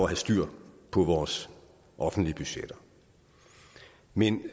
have styr på vores offentlige budgetter men